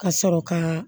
Ka sɔrɔ ka